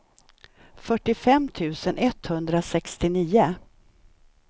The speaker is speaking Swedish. fyrtiofem tusen etthundrasextionio